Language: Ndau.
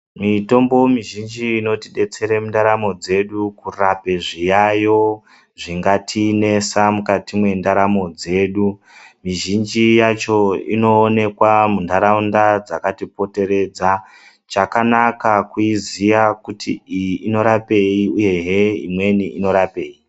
Mitombo mizhinji inotidetsere mundaramo dzedu kurape zviyayo zvingatinesa mukati mwendaramo dzedu mizhinji yacho inoonekwa muntaraunda dzakatikomberedza chakanaka kuiziya kuti iyi inorapei uyehe imweni inorapei.